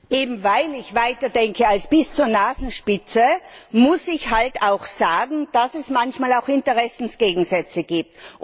Eben weil ich weiter denke als bis zur Nasenspitze, muss ich auch sagen, dass es manchmal Interessensgegensätze gibt.